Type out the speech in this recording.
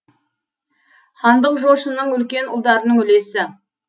хандық жошының үлкен ұлдарының үлесі